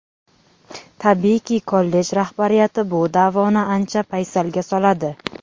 Tabiiyki, kollej rahbariyati bu da’voni ancha paysalga soladi.